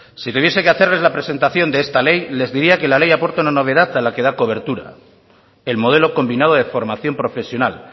si tuviese que hacerles la presentación de esta ley les diría que la ley aporta una novedad a la que da cobertura el modelo combinado de formación profesional